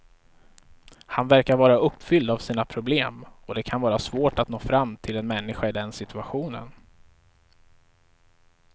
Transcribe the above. Han verkar vara uppfylld av sina problem och det kan vara svårt att nå fram till en människa i den situationen.